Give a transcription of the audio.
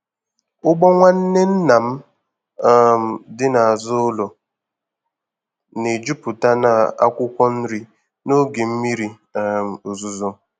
Ugbo nwanne nna m um dị n'azụ ụlọ na-ejupụta n'akwụkwọ nri n'oge mmiri um ozuzo.